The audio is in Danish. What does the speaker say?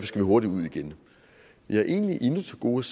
skal hurtigt ud igen jeg har egentlig endnu til gode